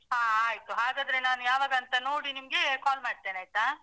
ಹಾ ಆಯ್ತು. ಹಾಗಾದ್ರೆ ನಾನು ಯಾವಾಗಂತ ನೋಡಿ ನಿಮ್ಗೆ call ಮಾಡ್ತೇನೆ ಆಯ್ತಾ?